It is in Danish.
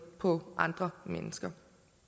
på andre mennesker